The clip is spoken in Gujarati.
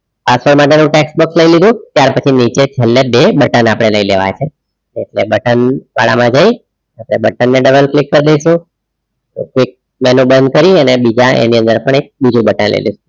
આસાન માટેનુ tax box લઈ લીધું ત્યાર પછી નીચે છેલ્લે બે button આપણે લઈ લેવા છે એટલે button વાળામાં જઈ button ને double click કરી દઈશું, બંધ કરી અને બીજા એની અંદર આપણે બીજુ button લઈ લઈશું.